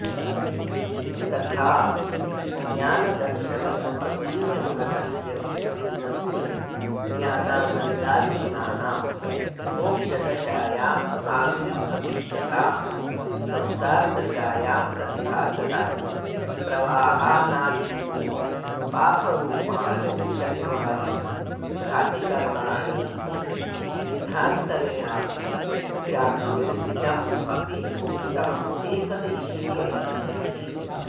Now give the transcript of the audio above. तथाऽपि ज्ञानदर्शनसुखवीर्यगुणकस्य जीवस्य ज्ञानानन्दादिगुणानां मोक्षदशायामाविर्भविष्यतां संसारदशायां प्रतिघातकानि प्रवाहानादीनि पापरुपाणि चत्वारि घातिकर्माणीति विधान्तरेणापि चातुर्विध्यमप्युक्तम् एकदेशीयैः